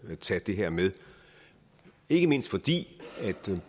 at tage det her med ikke mindst fordi